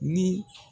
Ni